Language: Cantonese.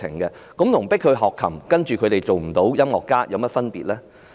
這跟迫學生學琴，但他們未能成為音樂家有甚麼分別呢？